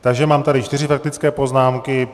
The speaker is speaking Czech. Takže mám tady čtyři faktické poznámky.